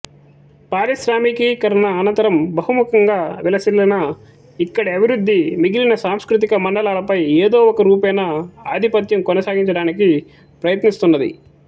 పారిశ్రామికీకరణ అనంతరం బహుముఖంగా విలసిల్లిన ఇక్కడి అభివృద్ధి మిగిలిన సాంస్కృతిక మండలాలపై ఏదో ఒక రూపేణా ఆధిపత్యం కొనసాగించడానికి ప్రయత్నిస్తున్నది